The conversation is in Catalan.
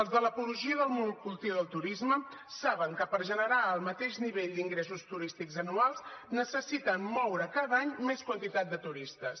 els de l’apologia del monocultiu del turisme saben que per generar el mateix nivell d’ingressos turístics anuals necessiten moure cada any més quantitat de turistes